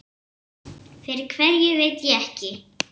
Fyrir hverju veit ég ekki.